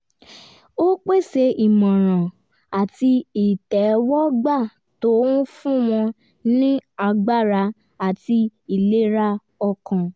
ó pèsè ìmọ̀ràn àti ìtẹ́wọ́gba tó ń fún wọn ní agbára àti ìlera ọkàn